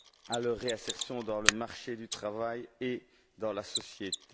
à leur réinsertion sur le marché du travail et dans la société.